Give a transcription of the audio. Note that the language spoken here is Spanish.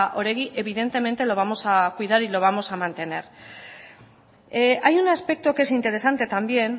oregi evidentemente lo vamos a cuidar y lo vamos a mantener hay un aspecto que es interesante también